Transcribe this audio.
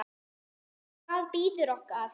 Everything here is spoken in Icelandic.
Hvað bíður okkar?